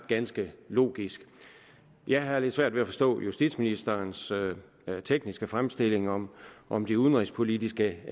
ganske logisk jeg har lidt svært ved at forstå justitsministerens tekniske fremstilling om om de udenrigspolitiske